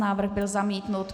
Návrh byl zamítnut.